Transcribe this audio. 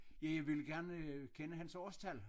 Ja jeg ville gerne øh kende hans årstal